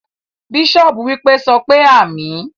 Bishop wípé,"sọpé àmín"